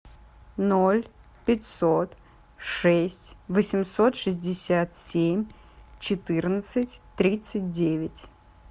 ноль пятьсот шесть восемьсот шестьдесят семь четырнадцать тридцать девять